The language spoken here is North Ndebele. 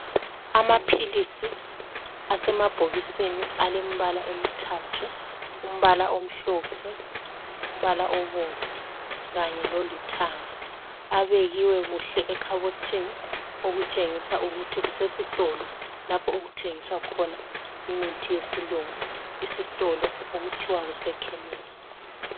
Amaphilisi asemabhokisini alembala emithathu umbala omhlophe, umbala obomvu kanye lolithanga abekiwe kuhle ekhabothini okutshengisa ukuthi kusesitolo lapho okuthengiswa khona imithi yesilungu isitolo okuthiwa kuse khemisi.